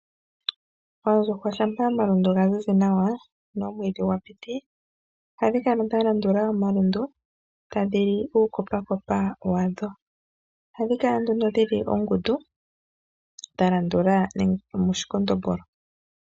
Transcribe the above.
Oondjuhwa shampa oma lundu ga zizi nawa nomwidhi gwa piti. Ohadhi kala dha landula omalundu ta dhili uukopakopa wadho. ohadhi kala nduno dhili oongundu dha landula mu shikondombolo.